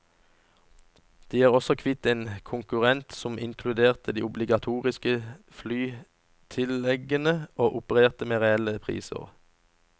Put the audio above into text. De er også kvitt en konkurrent som inkluderte de obligatoriske flytilleggene og opererte med reelle priser.